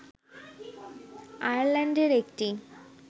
আয়ারল্যান্ডের একটি